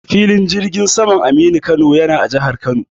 Filin jirgin saman Aminu Kano yana a jahar Kano.